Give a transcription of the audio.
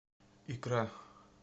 икра